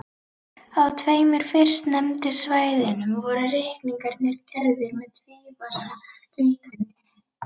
Á tveimur fyrstnefndu svæðunum voru reikningarnir gerðir með tvífasa líkani.